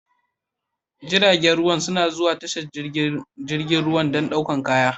Jiragan ruwa na zuwa tashar jirgin ruwa dan ɗaukan kaya